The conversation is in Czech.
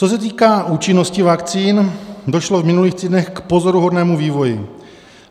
Co se týká účinnosti vakcín, došlo v minulých týdnech k pozoruhodnému vývoji.